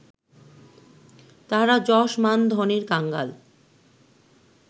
তাহারা যশ মান ধনের কাঙ্গাল